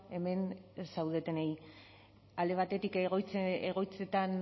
hemen zaudetenei alde batetik egoitzetan